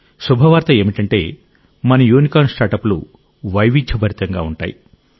శుభవార్త ఏమిటంటే మన యూనికార్న్ స్టార్టప్ లు వైవిధ్యభరితంగా ఉంటాయి